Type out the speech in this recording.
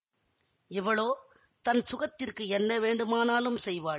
இவளோ தன் சுகத்திற்கு என்ன வேண்டுமானாலும் செய்வாள்